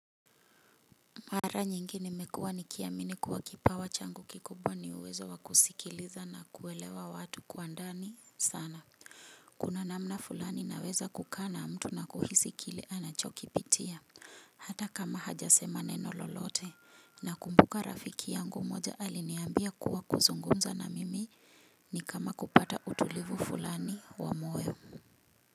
Mara nyingine mmekua nikiamini kuwa kipawa changu kikubwa ni uwezo wakusikiliza na kuelewa watu kwandani sana. Kuna namna fulani naweza kukaa na mtu na kuhisikile anachokipitia. Hata kama hajasema neno lolote, nakumbuka rafiki yangu mmoja aliniambia kuwa, kuzungumza na mimi ni kama kupata utulivu fulani, wa moyo.